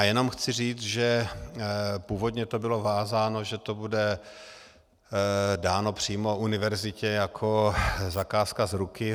A jenom chci říct, že původně to bylo vázáno, že to bude dáno přímo univerzitě jako zakázka z ruky.